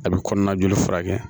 A bɛ kɔnɔna joli furakɛ